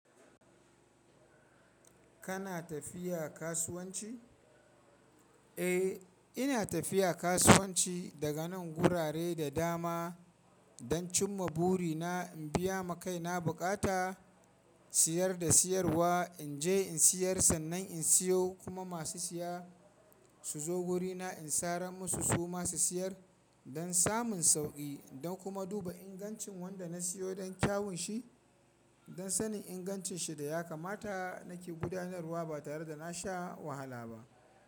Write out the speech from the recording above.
Kana tafiya kasuwanci? Eh, ina tafiya kasuwanci daga nan gurare da dama don cimma buri na in biya ma kaina bukata, siyar da siyarwa, in je in siyar sannan in siyo kuma masu siya su zo wurina in saran musu su ma su siyar don samun sauƙi don kuma duba ingancin wanda na siyo don kyawun shi, don sanin ingancin shi da ya kamata nake gudanarwa ba tare da na sha wahala ba.